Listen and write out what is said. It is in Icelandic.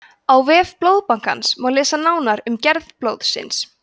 á vef blóðbankans má lesa nánar um gerð blóðsins